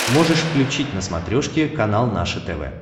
можешь включить на смотрешке канал наше тв